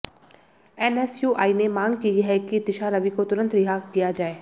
NSUI ने मांग की है कि दिशा रवि को तुरंत रिहा किया जाए